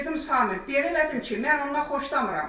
Dedim Samir, belə elədin ki, mən ondan xoşlanmıram.